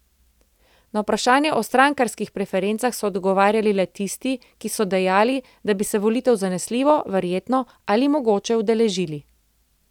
Na vprašanje o strankarskih preferencah so odgovarjali le tisti, ki so dejali, da bi se volitev zanesljivo, verjetno ali mogoče udeležili.